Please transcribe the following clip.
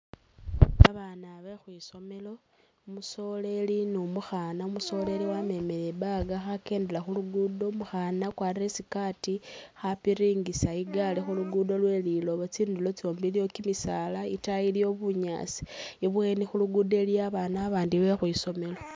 Babaana bekhwisomelo, umusoleli ni umukhaana, umusoleli wamemele i'bag khakendela khulugudo umukhaana wakwalire isikaati khapiringisa igaari khulugudo lwelilooba tsindulo tsyombi iliyo kimisaala itaayi bunyaasi i'bweni khulugudo iliyo babaana babandi bekhwisomelo